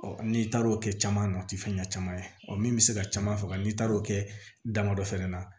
n'i taara o kɛ caman na o tɛ fɛn ɲɛnama caman ye ɔ min bɛ se ka caman faga n'i taara o kɛ damadɔ fɛnɛ na